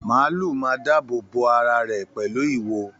Maálù máa dáàbò bò ará rẹ pẹlu ìwo.